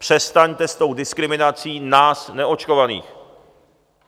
Přestaňte s tou diskriminací nás neočkovaných.